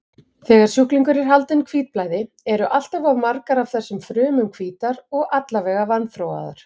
Þegar sjúklingur er haldinn hvítblæði, eru alltof margar af þessum frumum hvítar og allavega vanþróaðar.